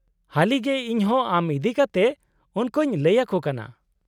-ᱦᱟᱹᱞᱤᱜᱮ ᱤᱧᱦᱚᱸ ᱟᱢ ᱤᱫᱤ ᱠᱟᱛᱮᱫ ᱩᱱᱠᱩᱧ ᱞᱟᱹᱭ ᱟᱠᱚ ᱠᱟᱱᱟ ᱾